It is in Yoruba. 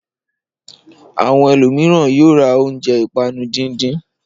Àwọn ẹlòmíràn yóò ra oúnjẹ ìpanu díndín.